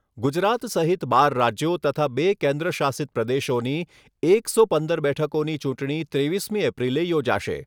ગુજરાત સહિત બાર રાજ્યો તથા બે કેન્દ્ર શાસિત પ્રદેશોની એકસો પંદર બેઠકોની ચૂંટણી ત્રેવીસમી એપ્રિલે યોજાશે.